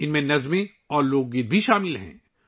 ان میں نظمیں اور لوک گیت بھی شامل ہیں